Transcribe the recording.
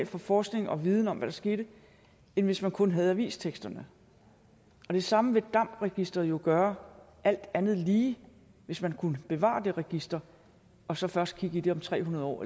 for forskning og viden om hvad der skete end hvis man kun havde avisteksterne og det samme vil damd registeret jo gøre alt andet lige hvis man kunne bevare det register og så først kigge i det om tre hundrede år